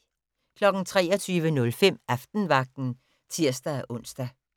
23:05: Aftenvagten (tir-ons)